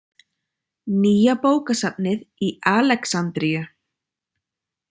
Nýja bókasafnið í Alexandríu.